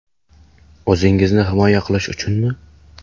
O‘zingizni himoya qilish uchunmi?